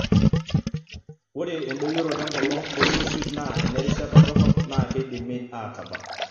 Ore endoyioroto engolon olng'usil naa enerishata dorrop naa keidimi aatabak.